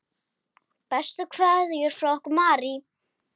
Bestu kveðjur frá okkur Marie.